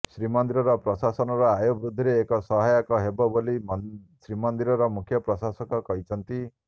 ଶ୍ରୀମନ୍ଦିର ପ୍ରଶାସନର ଆୟବୃଦ୍ଧିରେ ଏହା ସହାୟକ ହେବ ବୋଲି ଶ୍ରୀମନ୍ଦିର ମୁଖ୍ୟ ପ୍ରଶାସକ କହିଛନ୍ତି